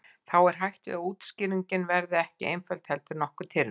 Þá er hætt við að útskýringin verði ekki einföld heldur nokkuð tyrfin.